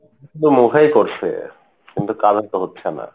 শুধু মুখেই করসে কিন্তু কাজের তো হচ্ছে না।